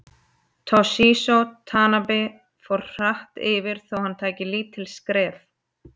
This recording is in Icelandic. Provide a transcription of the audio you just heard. Toshizo Tanabe fór hratt yfir þó hann tæki lítil skref.